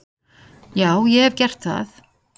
Já ég hef gert það.